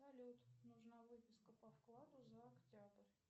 салют нужна выписка по вкладу за октябрь